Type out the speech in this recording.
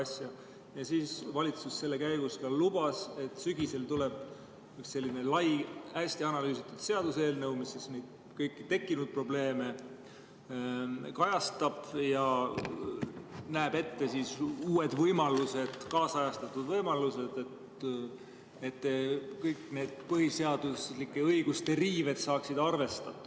Selle käigus valitsus ka lubas, et sügisel tuleb selline lai, hästi analüüsitud seaduseelnõu, mis kõiki neid tekkinud probleeme kajastab, ja näeb ette uued võimalused, kaasajastatud võimalused, et kõik need põhiseaduslike õiguste riived saaksid arvestatud.